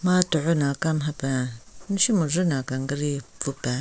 Ma tugho na kam hapen meshu majvü na kangari pvu pen.